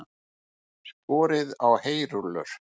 Skorið á heyrúllur